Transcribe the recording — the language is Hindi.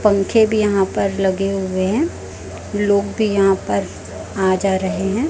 पंखे भी यहां पर लगे हुए हैं लोग भी यहां पर आ जा रहे हैं।